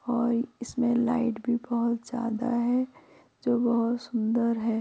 और इसमें लाइट भी बहोत ज़्यादा है जो बहोत सुंदर है।